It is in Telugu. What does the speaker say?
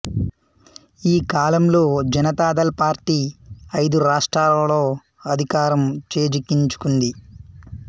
ఈ కాలంలో జనతాదళ్ పార్టీ ఐదు రాష్ట్రాలలో అధికారం చేజిక్కించుకుంది